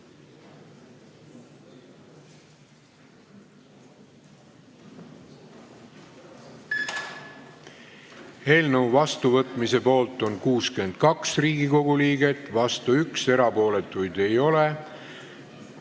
Hääletustulemused Eelnõu vastuvõtmise poolt on 62 Riigikogu liiget, vastu 1, erapooletuid ei ole.